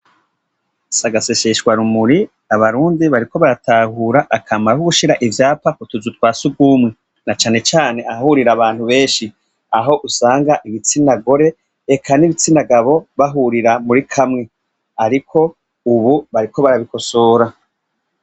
S'agaseseshwarumuri abarundi bariko baratahura akamaro ko gushira ivyapa ku tuzu twa surwumwe, na cane cane ahahurira abantu benshi aho usanga ibitsina gore eka n'ibitsina gabo bahurira muri kamwe. Ariko ubu bariko barabikosora.